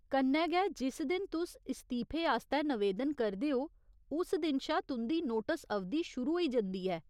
कन्नै गै, जिस दिन तुस इस्तीफे आस्तै नवेदन करदे ओ उस दिन शा तुं'दी नोटस अवधि शुरू होई जंदी ऐ।